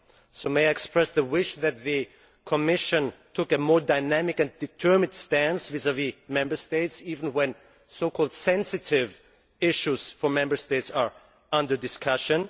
So may I express the wish that the Commission take a more dynamic and determined stance vis vis the Members States, even when so called sensitive issues for the Member States are under discussion?